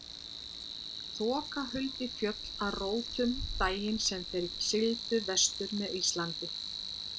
Þoka huldi fjöll að rótum daginn sem þeir sigldu vestur með Íslandi.